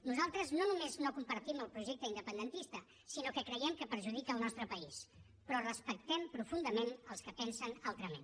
nosaltres no només no compartim el projecte independentista sinó que creiem que perjudica el nostre país però respectem profundament els que pensen altrament